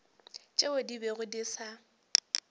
tšeo di bego di sa